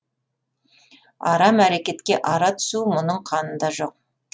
арам әрекетке ара түсу мұның қанында жоқ